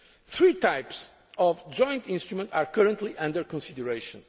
EIB to that end. Three types of joint instrument' are currently under